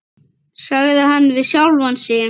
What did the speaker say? sagði hann við sjálfan sig.